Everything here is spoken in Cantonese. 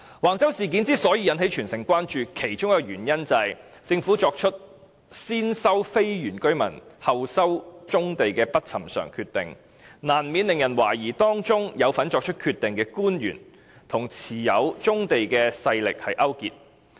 橫洲事件之所以引起全城關注，其中一個原因是政府作出先收非原居民村落土地，後收棕地的不尋常決定，難免令人懷疑當中有份作出決定的官員與持有棕地的勢力勾結。